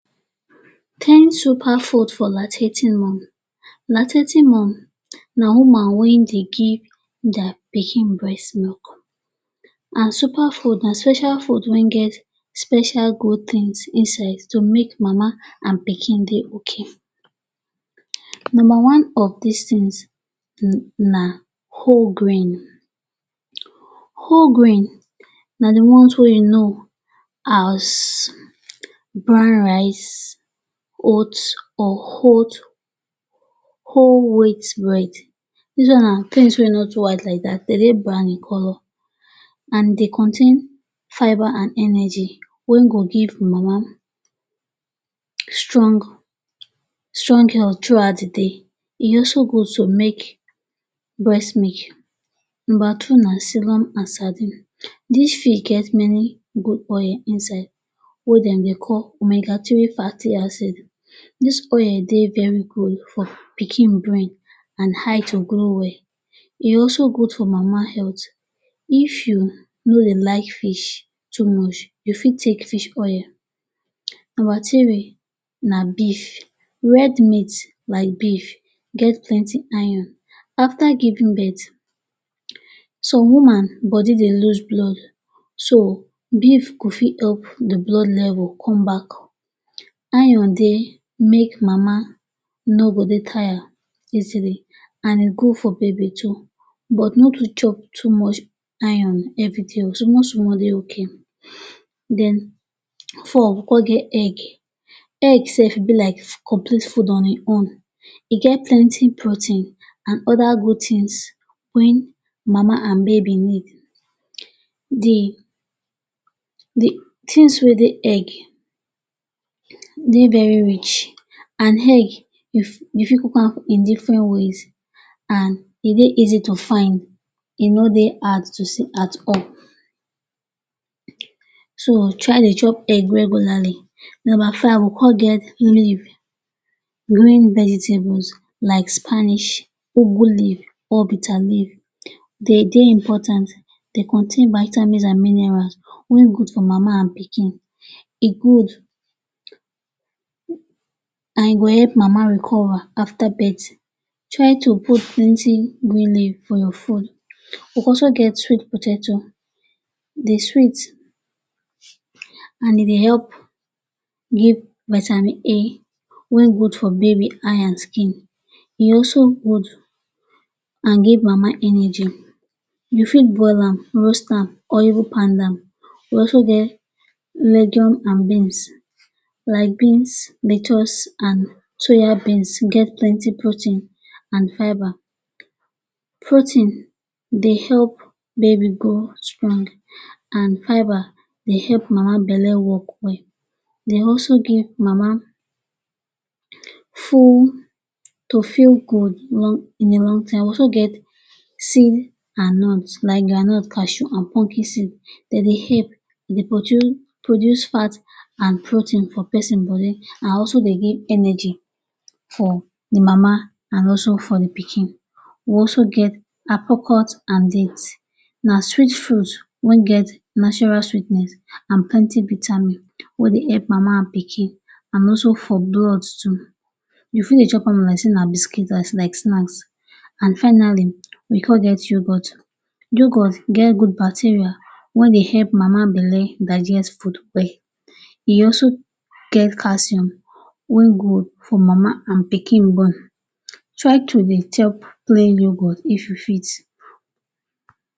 ten superfoods for lactating moms Lactating woman na woman wey dey give dia pikin breast milk and super food na special food wey get special good tins inside to make mama and pikin dey okay. Numba one of dis tins na whole grrains. Whole grain na di ones wey you sabi like brown rice, oats, whole wheat bread. Dis ones na tins wey no too white like dat, dem dey brown in colour and dem contain fiber and energy wey go give mama strong strong health through out di day. E also good to make breast milk. Numba two na serum and sardine. Dis fish get many good oil inside wey dem dey call omega three fatty acid. Dis oil dey very good for pikin brain and eye to grow well. E also good for mama health. If you no dey like fish too much, you fit take fish oil. Numba three na beef. Red meat like beef get plenty iron. Afta giving birth, some woman body dey lose blood, so beef go help di blood level come back. Iron go make mama no go dey tired easily and e good for baby too. But make you no chop too much iron evri day oh, so must dey okay. Numba four, we come get egg. Egg sef e be like complete food on im own. E get plenty protein and oda good tins wey mama and baby need. Di tins wey dey egg dey very rich and egg, you fit cook am in diffren ways and e dey easy to find. E no dey hard to see at all, so try dey chop egg regularly. Numba five, we come get leaf. Green vegetables like spinach, ugu leaf or bitter leaf dey important. Dem contain vitamins and minerals wey good for mama and pikin. E good, e go help mama recover afta birth. Try to put plenty green leaf for your food. We also get sweet potatoes. E dey sweet and e dey help give vitamin A wey good for baby eye and skin. E also good and dey give mama energy. You fit boil am, roast am or even pound am. We also get legumes and beans. Like beans and soya beans, dem get plenty protein and fiber. Protein dey help baby grow strong and fiber dey help mama belle wok well. Dem also make mama to feel good in di long time. We also get groundnut, cashew and pumpkin seeds. Dem dey help produce fats and protein for pesin body and also dey give energy for di mama and also for di pikin. We also get dates. Na sweet foods wey get natural sweetness and plenty vitamins wey dey help mama and pikin and also for blood too. You fit dey chop am like say na biscuit, like say na snacks. And finally, we come get yogurt. Yogurt get good bacteria wey dey help mama belle digest food well. E also get calcuim wey good for mama and pikin bone. Try to dey take plain yogurt if you fit.